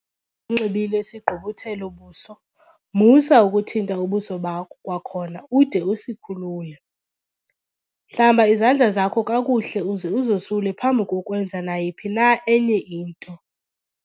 nxibile sigqubuthelo-buso, MUSA UKUTHINTA UBUSO BAKHO kwakhona ude usikhulule. Hlamba izandla zakho kakuhle uze uzosule phambi kokwenza nayiphi na enye into.